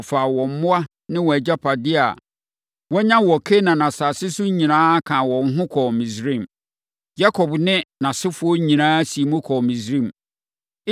Wɔfaa wɔn mmoa ne wɔn agyapadeɛ a wɔanya wɔ Kanaan asase so nyinaa kaa wɔn ho kɔɔ Misraim. Yakob ne nʼasefoɔ nyinaa siim kɔɔ Misraim.